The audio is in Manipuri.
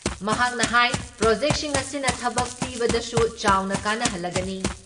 ꯃꯍꯥꯛꯅ ꯍꯥꯏ ꯄ꯭ꯔꯣꯖꯦꯛꯁꯤꯡ ꯑꯁꯤꯅ ꯊꯕꯛ ꯄꯤꯕꯗꯁꯨ ꯆꯥꯎꯅ ꯀꯥꯟꯅꯍꯜꯂꯒꯅꯤ ꯫